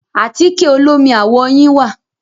Àtíkẹ̀ olómi àwọ̀ yín wà.